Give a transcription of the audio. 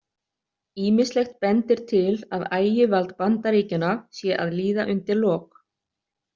Ýmislegt bendir til að ægivald Bandaríkjanna sé að líða undir lok.